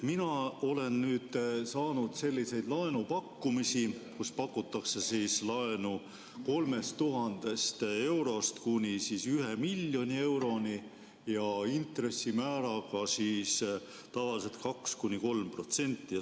Mina olen saanud selliseid laenupakkumisi, millega pakutakse laenu 3000 eurost kuni 1 miljoni euroni ja intressimäär on tavaliselt 2–3%.